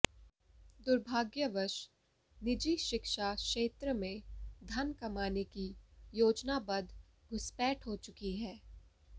दुर्भाग्यवश निजी शिक्षा क्षेत्र में धन कमाने की योजनाबद्ध घुसपैठ हो चुकी है